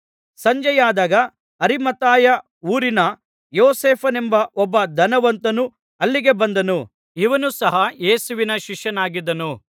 ಸಂಜೆಯಾದಾಗ Arimathea ಊರಿನ ಯೋಸೇಫನೆಂಬ ಒಬ್ಬ ಧನವಂತನು ಅಲ್ಲಿಗೆ ಬಂದನು ಇವನು ಸಹ ಯೇಸುವಿನ ಶಿಷ್ಯನಾಗಿದ್ದನು